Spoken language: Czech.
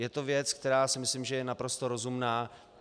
Je to věc, která si myslím, že je naprosto rozumná.